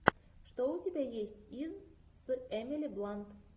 что у тебя есть из с эмили блант